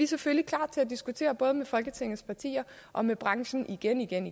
selvfølgelig klar til at diskutere både med folketingets partier og med branchen igen igen